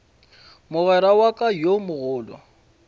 mogwera wa ka yo mogolo